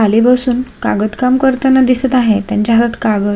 खाली बसून कागद काम करताना दिसत आहे त्यांच हात कागद--